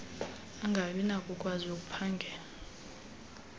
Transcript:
angabi nakukwazi ukuphangela